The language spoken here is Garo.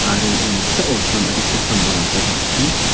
aro ia noksao sam adita sam-bolrangkoba an·ching--